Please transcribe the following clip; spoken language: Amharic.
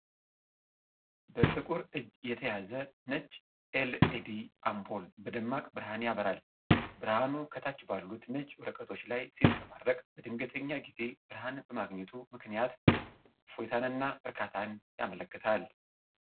በጥቁር እጅ የተያዘ ነጭ ኤልኢዲ አምፖል በደማቅ ብርሃን ያበራል። ብርሃኑ ከታች ባሉት ነጭ ወረቀቶች ላይ ሲንጸባረቅ፣ በድንገተኛ ጊዜ ብርሃን በማግኘቱ ምክንያት እፎይታንና እርካታን ያመለክታል።